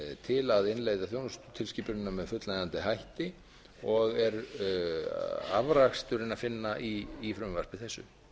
til að innleið þjónustutilskipunina með fullnægjandi hætti og er afraksturinn að finna í frumvarpi þessu